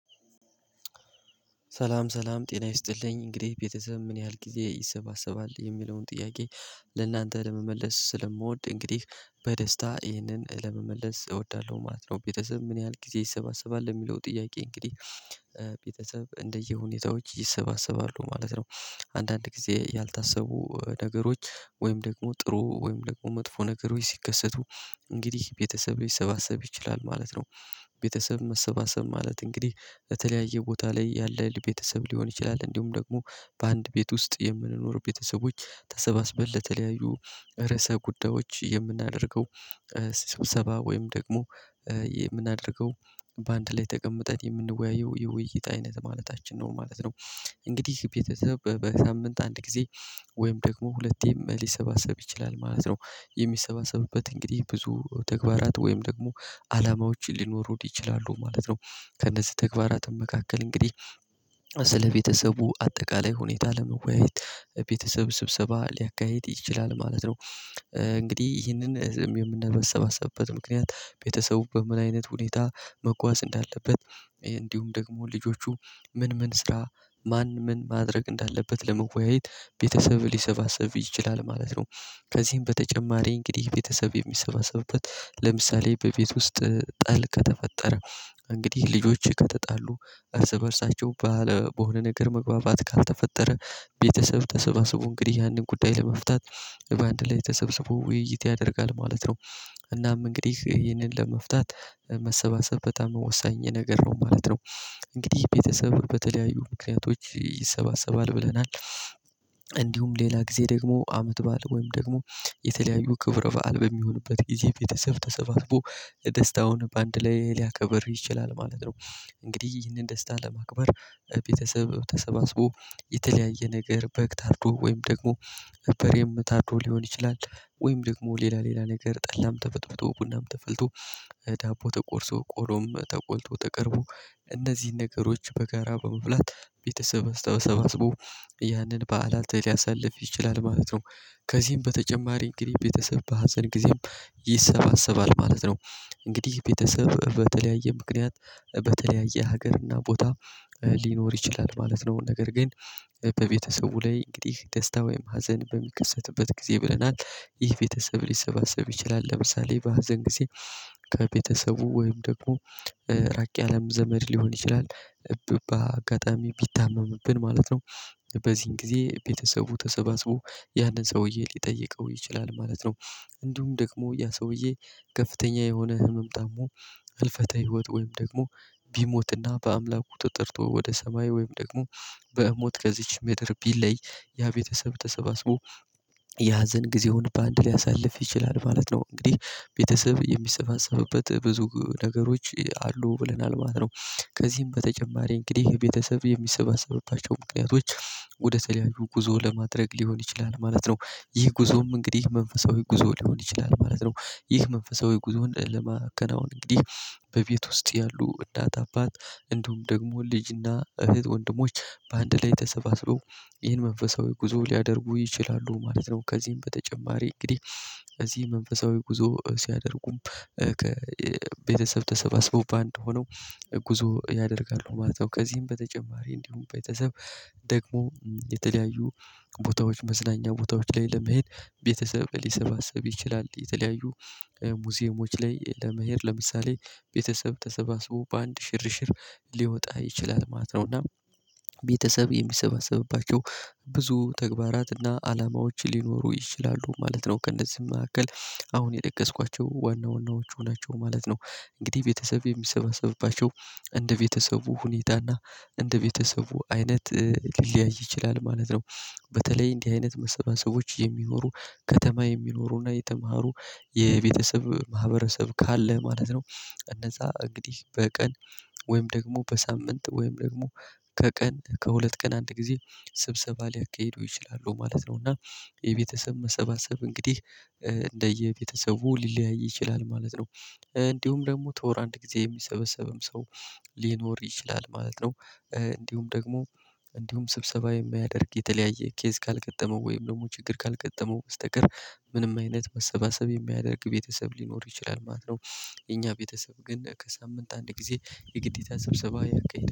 ሰላም ሰላም ጤና ይስጥልኝ እንግዲህ ቤተሰብ ምን ያህል ጊዜ ይሰባሰባል የሚለውን ጥያቄ ለእናንተ ለመመለስ ስለምወድ እንግዲህ በደስታ ይህንን ለመመለስ እወዳለሁ ማለት ነው። ቤተሰብ ምን ያህል ጊዜ ይሰባሰባል የሚለው ጥያቄ እንግዲህ ቤተሰብ እንደየሁኔታዎች ይሰባሰባሉ ማለት ነው። አንዳንድ ጊዜ ያልታሰቡ ነገሮች ወይም ደግሞ ጥሩ ወይም ደግሞ መጥፎ ነገር ወይ ሲከሰቱ እንግዲህ ቤተሰብ ሊሰባሰብ ይችላል ማለት ነው። ቤተሰብ መሰባሰብ ማለት እንግዲህ በተለያየ ቦታ ላይ ያለ የቤተሰብ ሊሆን ይችላል እንዲሁም ደግሞ በአንድ ቤት ውስጥ የምንኖር ቤተሰቦች ተሰባስበል ለተለያዩ ርዕሰ ጉዳዮች የምናደርገው። ሲሰብሰባ ወይም ደግሞ የምናደርገው በአንድ ላይ ተቀምጠን የምንወያየው የውይይት አይነት ማለታችን ነው ማለት ነው። እንግዲህ ቤተሰብ በሳምንት አንድ ጊዜ ወይም ደግሞ ሁለቴም ሊሰባሰብ ይችላል ማለት ነው። የሚሰባሰብበት እንግዲህ ብዙ ተግባራት ወይም ደግሞ አላማዎችን ሊኖሩ ይችላሉ ማለት ነው። ከነዚህ ተግባራት መካከል እንግዲህ ስለ ቤተሰቡ አጠቃላይ ሁኔታ ለመወያየት ቤተሰብ ስብሰባ ሊያካሂድ ይችላል ማለት ነው። እንግዲህ ይህንን የምንሰባሰብበት ምክንያት ቤተሰቡ በመላ አይነት ሁኔታ መጓዝ እንዳለበት እንዲሁም ደግሞ ልጆቹ ምን ምን ስራ ማን ምን ማድረግ እንዳለበት ለመወያየት ቤተሰብ ሊሰባሰብ ይችላል ማለት ነው። ከዚህም በተጨማሪ እንግዲህ ቤተሰብ የሚሰባሰብበት ለምሳሌ በቤት ውስጥ ጥል ከተፈጠረ እንግዲህ ልጆች ከተጣሉ እርስ በእርሳቸው ባለ በሆነ ነገር መግባባት ካልተፈጠረ ቤተሰብ ተሰባስቦ እንግዲህ ያንን ጉዳይ ለመፍታት በአንድ ላይ ተሰብስቦ ውይይት ያደርጋል ማለት ነው። እናም እንግዲህ ይህንን ለመፍታት መሰባሰብ በጣም የወሰኝ ነገር ነው ማለት ነው። እንግዲህ ቤተሰብ በተለያዩ ምክንያቶች ይሰባሰባል ብለናል። እንዲሁም ሌላ ጊዜ ደግሞ አመት ባል ወይም ደግሞ የተለያዩ ክብረ በዓል በሚሆንበት ይሄ ቤተሰብ ተሰባስቦ የደስታውን በአንድ ላይ ሊያከብር ይችላል ማለት ነው። እንግዲህ ይህንን ደስታ ለማክበር ቤተሰብ ተሰባስቦ የተለያየ ነገር በግ ታርዶ ወይም ደግሞ በሬም ታርዶ ሊሆን ይችላል። ወይም ደግሞ ሌላ ሌላ ነገር ጠላም ተበጥብጦ ቡናም ተፈልቶ ዳቦ ተቆርሶ ቆሎም ተቆልቶ ተቀርቦ እነዚህን ነገሮች በጋራ በመብላት ቤተሰብ ስተባሰቡ ያንን በዓላት ሊያሳልፍ ይችላል ማለት ነው። ከዚህም በተጨማሪ እንግዲህ ቤተሰብ በሀዘን ጊዜም ይሰባሰባል ማለት ነው። እንግዲህ ቤተሰብ በተለያየ ምክንያት በተለያየ ሀገር እና ቦታ ሊኖር ይችላል ማለት ነው ነገር ግን በቤተሰቡ ላይ እንግዲህ ደስታ ወይም ሀዘን በሚከሰትበት ጊዜ ብለናል። ይህ ቤተሰብ ሊሰባሰብ ይችላል ለምሳሌ በሀዘን ጊዜ። ከቤተሰቡ ወይም ደግሞ ራቅ ያለ ዘመድ ሊሆን ይችላል ብባ አጋጣሚ ቢታመምብን ማለት ነው። በዚህን ጊዜ ቤተሰቡ ተሰባስቦ ያንን ሰውዬ ሊጠይቀው ይችላል ማለት ነው። እንዲሁም ደግሞ ያ ሰውዬ ከፍተኛ የሆነ ህመም ታሞ ህልፈተ ህይወት ወይም ደግሞ ቢሞትና በአምላኩ ጠርቶ ወደ ሰማይ ወይም ደግሞ በሞት ከዚች ምድር ቢለይ ያ ቤተሰብ ተሰባስቦ ያ ሀዘን ጊዜውን በአንድ ሊያሳልፍ ይችላል ማለት ነው። እንግዲህ ቤተሰብ የሚሰባሰብበት ብዙ ነገሮች አሉ ብለናል ማለት ነው። ከዚህም በተጨማሪ እንግዲህ የቤተሰብ የሚሰባሰብባቸው ምክንያቶች ወደ ተለያዩ ጉዞ ለማድረግ ሊሆን ይችላል ማለት ነው። ይህ ጉዞም እንግዲህ መንፈሳዊ ጉዞ ሊሆን ይችላል ማለት ነው። ይህ መንፈሳዊ ጉዞን ለመከናወን እንግዲህ በቤት ውስጥ ያሉ እናት አባት እንደውም ደግሞ ልጅና እህት ወንድሞች በአንድ ላይ ተሰባስበው ይህን መንፈሳዊ ጉዞ ሊያደርጉ ይችላሉ ማለት ነው። ከዚህም በተጨማሪ እንግዲህ እዚህ መንፈሳዊ ጉዞ ሲያደርጉም ከቤተሰብ ተሰባስቦ በአንድ እንደሆነው ጉዞ ያደርጋሉ ማለት ነው። ከዚህም በተጨማሪ እንዲሁም ቤተሰብ ደግሞ የተለያዩ ቦታዎች መዝናኛ ቦታዎች ላይ ለመሄድ ቤተሰብ ሊሰባሰብ ይችላል የተለያዩ ሙዚየሞች ላይ ለመሄድ ለምሳሌ ቤተሰብ ተሰባስቦ በአንድ ሽርሽር ሊወጣ ይችላል ማለት ነው። እና ቤተሰብ የሚሰባሰብባቸው ብዙ ተግባራት እና አላማዎች ሊኖሩ ይችላሉ ማለት ነው። ከእነዚህም መካከል አሁን የጠቀስኳቸው ዋና ዋናዎቹ ናቸው ማለት ነው። እንግዲህ ቤተሰብ የሚሰባሰብባቸው እንደ ቤተሰቡ ሁኔታና እንደ ቤተሰቡ አይነት ሊለያይ ይችላል ማለት ነው። በተለይ እንዲህ አይነት መሰብሰቦች የሚኖሩ ከተማ የሚኖሩና የተማሩ የቤተሰብ ማህበረሰብ ካለ ማለት ነው። እነዛ እንግዲህ በቀን ወይም ደግሞ በሳምንት ወይም ደግሞ ከቀን ከሁለት ቀን አንድ ጊዜ ስብሰባ ሊያካሂደው ይችላሉ ማለት ነው። እና የቤተሰብ መሰባሰብ እንግዲህ እንደየቤተሰቡ ሊለያይ ይችላል ማለት ነው። እንዲሁም ደግሞ ተወር አንድ ጊዜ የሚሰበሰብም ሰው ሊኖር ይችላል ማለት ነው። እንዲሁም ደግሞ እንዲሁም ስብሰባ የሚያደርግ የተለያየ ኬዝ ካልቀጠመው ወይም ደግሞ ችግር ካልቀጠመው በስተቀር ምንም አይነት መሰባሰብ የሚያደርግ ቤተሰብ ሊኖር ይችላል ማለት ነው። የኛ ቤተሰብ ግን ከሳምንት አንድ ጊዜ የግዴታ ሰብሰባ ያካሂዳል